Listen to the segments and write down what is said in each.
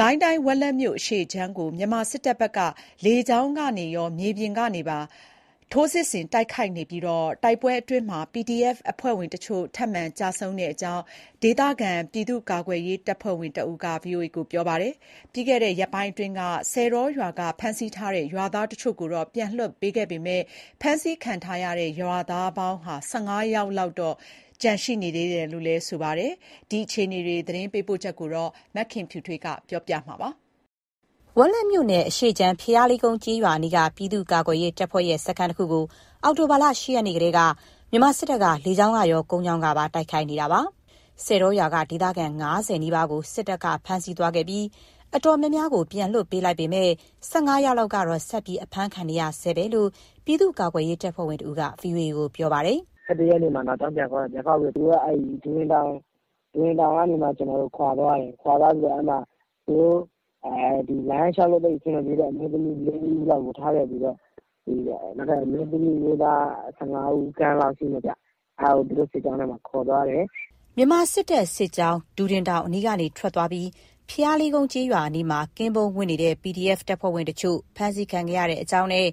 ကိုင်းတိုင်း ဝက်လက်မြို့အရှေ့ခြမ်းကို မြန်မာစစ်တပ်က လေကြောင်းကရော မြေပြင်ကပါ ထိုးစစ်ဆင်တိုက်ခိုက်နေပြီး တိုက်ပွဲအတွင်း PDF အဖွဲ့ဝင်တချို့ ထပ်မံကျဆုံးကြောင်း ဒေသခံ ပြည်သူ့ကာကွယ်ရေးတပ်ဖွဲ့ဝင်တဦးက VOA ကို ပြောပါတယ်။ ပြီးခဲ့တဲ့ ရက်ပိုင်းအတွင်းက ဆည်တောရွာက ဖမ်းဆီးထားတဲ့ ရွာသားတချို့ကို ပြန်လွှတ်ပေးခဲ့ပေမယ့် ဖမ်းဆီးခံထားရတဲ့ ရွာသား ၁၅ ယောက်လောက်တော့ ကျန်နေသေးတယ်လို့ ပြောပါတယ်။ ဝက်လက်မြို့အရှေ့ခြမ်း တိုက်ပွဲအခြေအနေ သတင်းပေးပို့ချက်ကို မခင်ဖြူထွေးက တင်ပြပေးထားပါတယ်။ ဝက်လက်မြို့နယ်အရှေ့ခြမ်း ဘုရားလေးကုန်း ကျေးရွာအနီးက ပြည်သူ့ကာကွယ်ရေးတပ်စခန်းတခုကို အောက်တိုဘာ ၈ ရက်နေ့ကတည်းက မြန်မာစစ်တပ်က လေကြောင်းကရော ကုန်းကြောင်းကပါ တိုက်ခိုက်နေတာပါ။ ဆည်တောရွာ က ဒေသခံ ၅၀ နီးပါးကို စစ်တပ်က ဖမ်းဆီးခံခဲ့ရပေမယ့် တော်တော်များများကို ပြန်လွှတ်ပေးလိုက်ပြီး ၁၅ ယောက်လောက်တော့ ဆက်အဖမ်းခံနေရဆဲပဲလို့ ပြည်သူ့ကာကွယ်ရေးတပ်ဖွဲ့ဝင်တဦးက VOA ကို ပြောပါတယ်။ “၁၁ ရက်နေ့မှာ နောက်ကြောင်းပြန်ခေါက်တယ်။ ပြန်ခေါက်ပြီးတော့ သူတို့ ဒူဒင်တောင်ကနေ ခွာသွားတယ်။ ခွာသွားပြီးတော့ အဲ့မှာ လမ်းလျှောက်လို့ အဆင်မပြေတဲ့ အမျိုးသမီး ၄ ဦးလောက်ကို သူတို့ထားခဲ့ပြီးတော့ အမျိုးသမီး၊ အမျိုးသား ၁၅ ဦးခန့်လောက်ရှိမယ်ဗျ အဲ့ဒါကို စစ်ကြောင်းထဲမှာ ခေါ်သွားတယ်။” မြန်မာစစ်တပ်စစ်ကြောင်း ဒူဒင်တောင်အနီးကထွက်သွားပြီး ဘုရားလေးကုန်းကျေး ရွာအနားမှာ ကင်းပုန်းဝပ်နေတဲ့ PDF တပ်ဖွဲ့ဝင်တချို့ ဖမ်းဆီးခံရတဲ့အကြောင်းနဲ့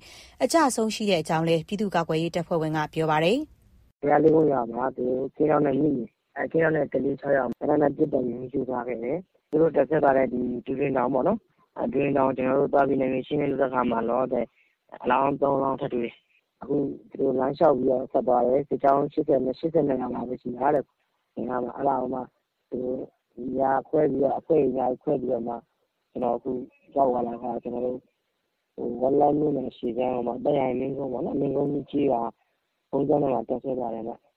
အကျအဆုံးရှိတဲ့အကြောင်းလည်း ပြည်သူ့ကာကွယ်ရေး တပ်ဖွဲ့ဝင်က ပြောပါတယ်။ ''သူတို့ တပ်စွဲသွားခဲ့တဲ့ ဒူဒင်တောင်ပေါ့နော်၊ အဲဒီကိုသွားပြီး ကျနော်တို့ နယ်မြေရှင်းလင်းရေး လုပ်တဲ့အခါပေ့ါနော်၊ လောလောဆယ် အလောင်း ၃ လောင်း ထပ်တွေ့တယ်။ အခုသူတို့ လမ်းလျှောက်ပြီး ဆက်ထွက်သွားတယ်၊ အင်အားက ၈၀ ကျော်ပဲ ရှိတာ။ အဲ့ဒါကိုမှသူတို့က နေရာခွဲ အဖွဲ့တွေ အများကြီးခွဲပြီးတော့မှ အခု ရောက်သွားတာက ဝက်လက်မြို့နယ်အရှေ့ခြမ်း မင်းကုန်းရွာထဲက ဘုန်းကြီးကျောင်းမှာ တပ်စွဲထားတယ်ဗျ။”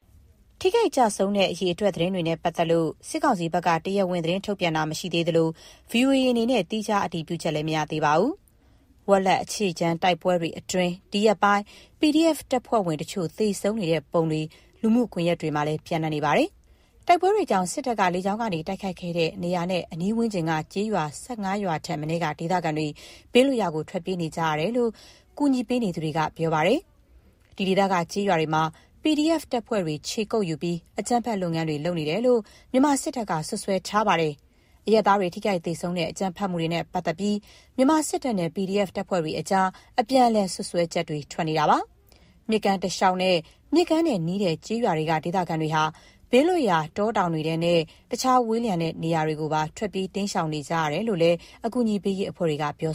ထိခိုက်ကျဆုံးတဲ့အရေအတွက်နဲ့ပတ်သက်လို့ စစ်ကောင်စီဘက်က တရားဝင် သတင်းထုတ်ပြန်တာ မရှိသေးသလို VOA အနေနဲ့ သီးခြားအတည်ပြုခက် မရသေးပါဘူး။ ဝက်လက်အရှေ့ခြမ်းတိုက်ပွဲတွေအတွင်း ဒီရက်ပိုင်း PDF တပ်ဖွဲ့ဝင် တချို့ သေဆုံးနေတဲ့ပုံတွေ လူမှုကွန်ယက်တွေမှာလည်း ပျံ့နှံ့နေပါတယ်။ တိုက်ပွဲတွေကြောင့် စစ်တပ်က လေကြာင်းတိုက်ခိုက်ခဲ့တဲ့ နေရာနဲ့အနီးဝန်းကျင်က ကျေးရွာ ၁၅ ရွာထက်မနည်း ဒေသခံတွေ ဘေးလွတ်ရာကို ထွက်ပြေးနေကြရတယ်လို့ အကူအညီပေးနေသူတွေက ပြောပါတယ်။ဒီဒေသ ကျေးရွာတွေမှာ PDF တပ်ဖွဲ့တွေ ခြေကုတ်ယူပြီး အကြမ်းဖက်လုပ်ငန်းတွေလုပ်နေတယ်လို့ မြန်မာစစ်တပ်က စွပ်စွဲထားပါတယ်။ အရပ်သားတွေ ထိခိုက်သေဆုံးတဲ့အကြမ်းဖက်မှုတွေနဲ့ ပတ်သက်ပြီး မြန်မာစစ်တပ်နဲ့ PDF တပ်ဖွဲ့တွေကြား အပြန်အလှန်စွပ်စွဲချက်တွေ ထွက်နေပါတယ်။ မြစ်ကမ်းတလျောက်နဲ့ မြစ်ကမ်းနဲ့နီးတဲ့ ကျေးရွာတွေက ဒေသခံတွေဟာ ဘေးလွတ်ရာ တောတောင်တွေထဲနဲ့ တခြားဝေးတဲ့နေရာတွေကို ထွက်ပြေးတိမ်းရှောင်နေကြရတယ်လို့လည်း အကူအညီပေးရေးအဖွဲ့တွေက ပြော